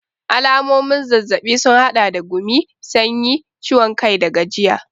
Alamomin zazzabi sun hada da gumi, sanyi, ciwon kai da gajiya.